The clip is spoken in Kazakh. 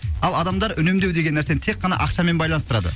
ал адамдар үнемдеу деген нәрсені тек қана ақшамен байланыстырады